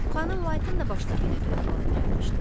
Xanım Whiteın da başına belə bir əhvalat gəlmişdi.